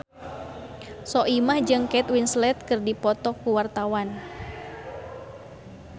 Soimah jeung Kate Winslet keur dipoto ku wartawan